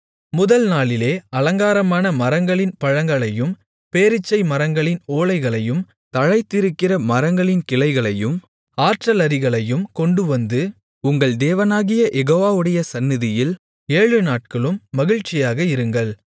முதல் நாளிலே அலங்காரமான மரங்களின் பழங்களையும் பேரீச்சை மரங்களின் ஓலைகளையும் தழைத்திருக்கிற மரங்களின் கிளைகளையும் ஆற்றலரிகளையும் கொண்டுவந்து உங்கள் தேவனாகிய யெகோவாவுடைய சந்நிதியில் ஏழுநாட்களும் மகிழ்ச்சியாக இருங்கள்